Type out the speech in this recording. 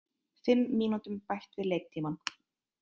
Fimm mínútum bætt við leiktímann